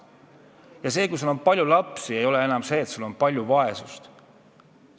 Ja see, kui sul on palju lapsi, ei tähenda enam seda, et sinu ümber on palju vaesust.